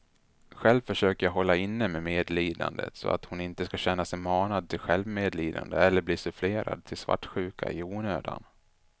Själv försöker jag hålla inne medlidandet så hon inte ska känna sig manad till självmedlidande eller bli sufflerad till svartsjuka i onödan.